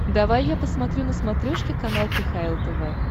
давай я посмотрю на смотрешке канал кхл тв